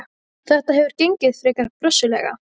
Þetta hefur gengið frekar brösuglega.